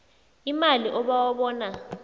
imali obawa bona